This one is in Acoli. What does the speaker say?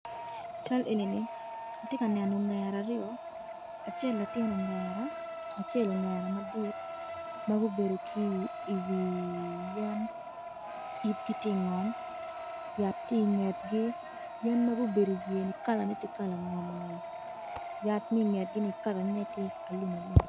I cal enini atye ka neno ogera aryo acel latin ogera acel ogera madit ma gubedo ki iwi yen yibgi tye ingom yat tye ingetgi yen ma gubedo iwiyeni kalane tye kala ngom ngom yat ma ingegini kalane tye alumalum.